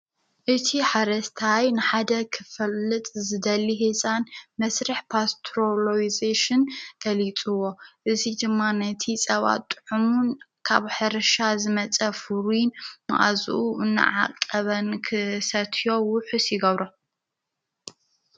እቲ ሓረስታይ ንሓደ ኽፈልጥ ዝደሊ ህፃን መስርሕ ፓስተሮሎይዜሽን ገሊፅዎ፡፡ እዙይ ድማ ነቲ ጸባ ጥዑሙን ካብ ሕርሻ ዝመጸ ፍሩይን መዓዝኡ እናዓቀበን ክሰትዮ ውሑስ ይገብሮ፡፡